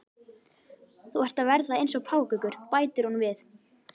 Þú ert að verða eins og páfagaukur, bætir hún við.